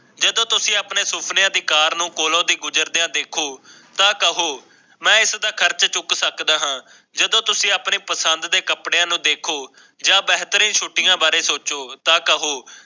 ਜਦੋਂ ਤੁਸੀ ਆਪਣੇ ਸੁਪਨਿਆਂ ਦੀ ਕਾਰ ਨੂੰ ਕੋਲੋ ਤੇ ਗੁਜ਼ਰਦੀ ਆ ਦੇਖੋ ਤਾਂ ਕਹੋ ਮੈਂ ਇਸ ਦਾ ਖਰਚਾ ਚੁੱਕ ਸਕਦਾ ਹਾਂ ਜਦੋਂ ਤੁਸੀਂ ਆਪਣੇ ਤਨ ਦੇ ਕੱਪੜਿਆਂ ਨੂੰ ਦੇਖੋ ਜਾਂ ਬਹਿਤਰੀਨ ਛੁੱਟੀਆਂ ਬਾਰੇ ਸੋਚੋ ਤਾ ਕਉ